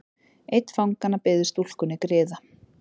Einn fanganna biður stúlkunni griða.